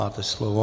Máte slovo.